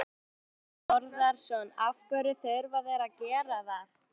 Þorbjörn Þórðarson: Af hverju þurfa þeir að gera það?